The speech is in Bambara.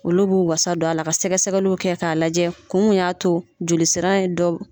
Olu b'u wasa don a la ka sɛgɛsɛgɛliw kɛ k'a lajɛ kun mun y'a to joli sira ye dɔ.